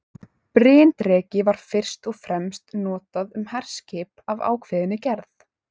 Bryndreki var fyrst og fremst notað um herskip af ákveðinni gerð.